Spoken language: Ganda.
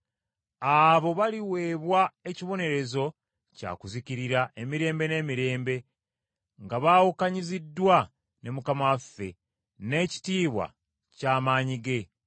Abo baliweebwa ekibonerezo kya kuzikirira emirembe n’emirembe, nga baawukanyiziddwa ne Mukama waffe, n’ekitiibwa ky’amaanyi ge.